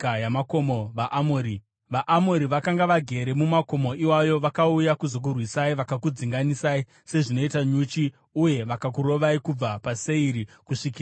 VaAmori vakanga vagere mumakomo iwayo vakauya kuzokurwisai; vakakudzinganisai sezvinoita nyuchi uye vakakurovai kubva paSeiri kusvikira paHoma.